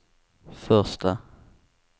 första